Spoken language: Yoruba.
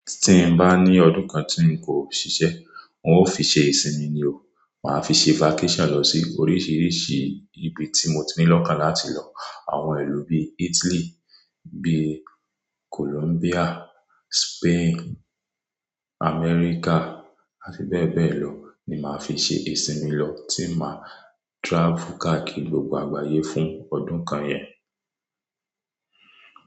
Tí n bá ní ọdún kan tí n kò ṣiṣẹ́, n ó fi ṣe ìsinmi ni o. Màá fi ṣe vacation lọ sí oríṣiríṣi ibi tí mo ti ní lọ́kàn láti lọ. Àwọn ìlú bí Italy, bí Columbia, Spain, America àti bẹ́ẹ̀ bẹ́ẹ̀ lọ ni máa fi ṣe ìsinmi lọ, tí máa travel kakiri gbogbo àgbáyé fún ọdún kan yẹn.